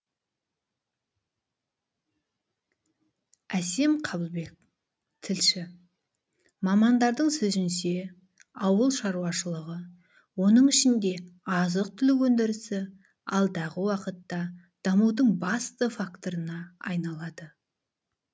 әсем қабылбек тілші мамандардың сөзінше ауыл шаруашылығы оның ішінде азық түлік өндірісі алдағы уақытта дамудың басты факторына айналады